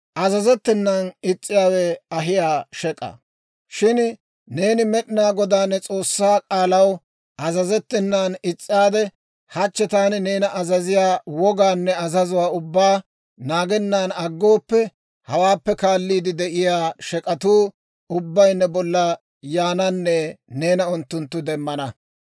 «Shin neeni Med'inaa Godaa ne S'oossaa k'aalaw azazettenan is's'aade, hachchi taani neena azaziyaa wogaanne azazuwaa ubbaa naagennan aggooppe, hawaappe kaalliide de'iyaa shek'atuu ubbay ne bolla yaananne neena unttunttu demmana.